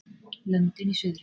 Löndin í suðri.